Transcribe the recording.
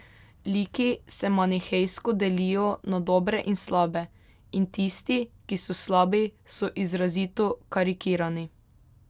Liki se manihejsko delijo na dobre in slabe, in tisti, ki so slabi, so izrazito karikirani.